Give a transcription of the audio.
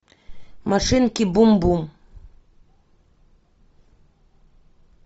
машинки бум бум